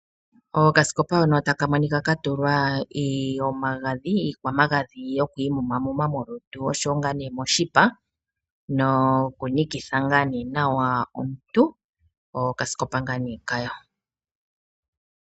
Okasikopa hono taka monika ka tulwa iiyo magadhi, iikwa magadhi yo ku i mumamuma molutu nosho wo ngaa ne moshipa no ku nikitha ngaa nee nawa omuntu, okaskopa ngaa nee kawo.